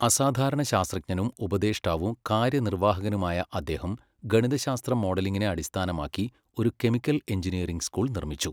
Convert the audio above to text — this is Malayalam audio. അസാധാരണ ശാസ്ത്രജ്ഞനും ഉപദേഷ്ടാവും കാര്യനിർവാഹകനുമായ അദ്ദേഹം ഗണിതശാസ്ത്ര മോഡലിംഗിനെ അടിസ്ഥാനമാക്കി ഒരു കെമിക്കൽ എഞ്ചിനീയറിംഗ് സ്കൂൾ നിർമ്മിച്ചു.